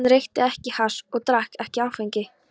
Hann reykti ekki hass og drakk ekki áfengi.